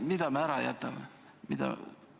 Mida me ära jätame?